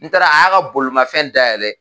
N taara , a y'a ka bolimafɛn dayɛlɛ